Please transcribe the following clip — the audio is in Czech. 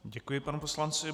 Děkuji panu poslanci.